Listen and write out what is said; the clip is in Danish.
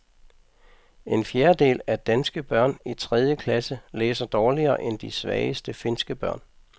En fjerdedel af danske børn i tredje klasse læser dårligere end de svageste finske børn.